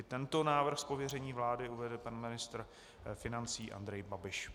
I tento návrh z pověření vlády uvede pan ministr financí Andrej Babiš.